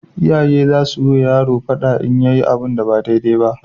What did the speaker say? Iyaye zasuyi wa yaro fada idan yayi abu ba dai dai na